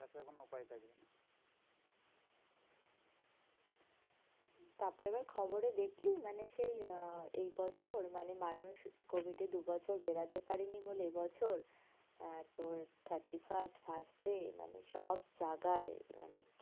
তারপরে আবার খবরে দেখলি? মানে সেই আহ এই বছর মানে মানুষ covid এ দুবছর বেড়াতে পারেনি বলে, এবছর আহ তোর thirty-first first এ মানে সব জায়গায় মানে